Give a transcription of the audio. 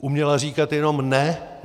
Uměla říkat jenom ne.